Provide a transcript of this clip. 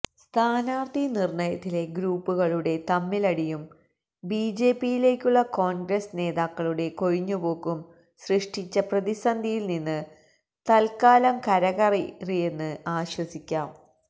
സ്ഥാനാര്ഥി നിര്ണയത്തിലെ ഗ്രൂപ്പുകളുടെ തമ്മിലടിയും ബിജെപിയിലേക്കുള്ള കോണ്ഗ്രസ് നേതാക്കളുടെ കൊഴിഞ്ഞുപോക്കും സൃഷ്ടിച്ച പ്രതിസന്ധിയില്നിന്ന് തല്ക്കാലം കരകയറിയെന്ന് ആശ്വസിക്കാം